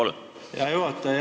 Hea juhataja!